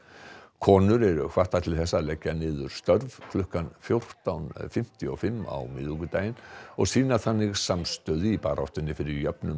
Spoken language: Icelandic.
konur eru hvattar til þess að leggja niður störf klukkan fjórtán fimmtíu og fimm á miðvikudaginn og sýna þannig samstöðu í baráttunni fyrir jöfnum